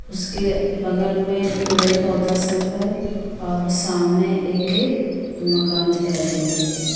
उसके बगल में पेड़-पौधा सब हैं और सामने एक मकान दिखाई दे रही है ।